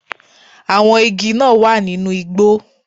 Àwọn igi náà wà nínú igbó